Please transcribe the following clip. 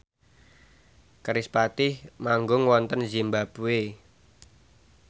kerispatih manggung wonten zimbabwe